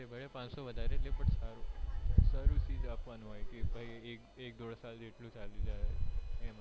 પાંચસો વધારે લે પણ સારું સારું ચિઝ આપવાનું હોય કે ભાઈ એક ઢોધ સાલ ચાલી જાય